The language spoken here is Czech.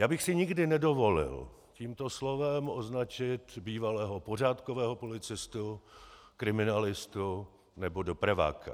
Já bych si nikdy nedovolil tímto slovem označit bývalého pořádkového policistu, kriminalistu nebo dopraváka.